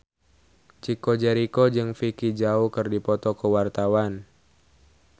Chico Jericho jeung Vicki Zao keur dipoto ku wartawan